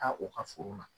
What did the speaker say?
Taa u ka foro la